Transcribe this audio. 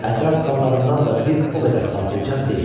Ətraf xanlarından da bir o qədər xatircəm deyilik.